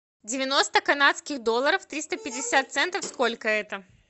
девяносто канадских долларов триста пятьдесят центов сколько это